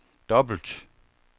dobbelt